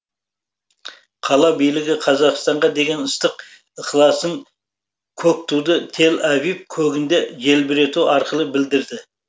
қала билігі қазақстанға деген ыстық ықыласын көк туды тель авив көгінде желбірету арқылы білдірді